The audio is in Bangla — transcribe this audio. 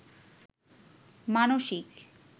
মানসিক